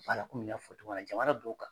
Wala komi n y'a fɔ cogo na jamana dow kan